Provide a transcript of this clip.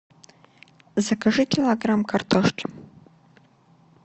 закажи килограмм картошки